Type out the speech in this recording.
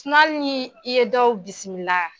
hali ni i ye dɔw bisimila